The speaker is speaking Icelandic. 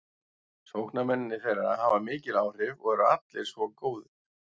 Sóknarmennirnir þeirra hafa mikil áhrif og eru allir svo góðir.